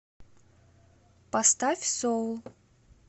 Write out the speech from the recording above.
поставь соул